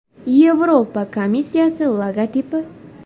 Yevropa komissiyasi logotipi.